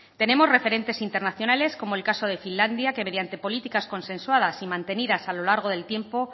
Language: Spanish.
tenemos referentes internacionales como el caso de finlandia que mediante políticas consensuadas y mantenidas a lo largo del tiempo